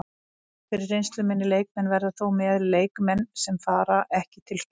Einhverjir reynslumeiri leikmenn verða þó með, leikmenn sem fara ekki til Spánar.